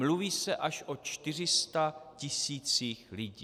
Mluví se až o 400 tisících lidí.